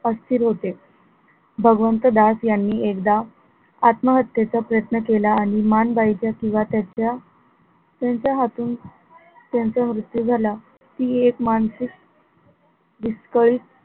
अस्थिर होते. भगवंत यांनी एकदा आत्महत्येचा प्रयत्न केला आणि माणबाईचा किंवा त्याचा त्यांच्या हातून त्यांचा मृत्यू झाला ती एक मानसिक विस्कळीत,